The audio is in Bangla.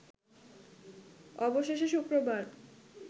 অবশেষে শুক্রবার